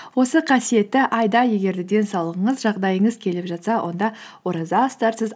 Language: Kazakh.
осы қасиетті айда егер де денсаулығыңыз жағдайыңыз келіп жатса онда ораза ұстарсыз